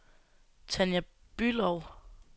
Tanja Bülow